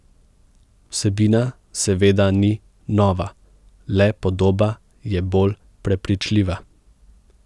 Vsebina seveda ni nova, le podoba je bolj prepričljiva.